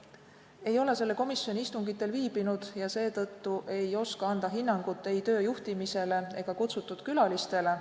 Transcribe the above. Ma ei ole selle komisjoni istungitel viibinud ja seetõttu ei oska anda hinnangut ei töö juhtimisele ega kutsutud külalistele.